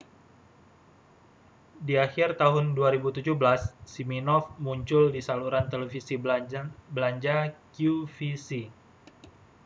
di akhir tahun 2017 siminoff muncul di saluran televisi belanja qvc